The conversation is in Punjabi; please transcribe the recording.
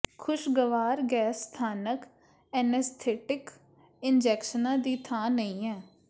ਖੁਸ਼ਗਵਾਰ ਗੈਸ ਸਥਾਨਕ ਐਨੇਸਥੀਟਿਕ ਇਨਜੈਕਸ਼ਨਾਂ ਦੀ ਥਾਂ ਨਹੀਂ ਹੈ